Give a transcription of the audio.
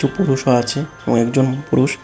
পুরুষও আছে কয়েকজন পুরুষ।